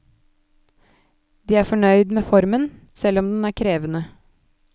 De er fornøyd med formen, selv om den er krevende.